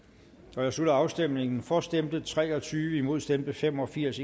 jeg slutter afstemningen for stemte tre og tyve imod stemte fem og firs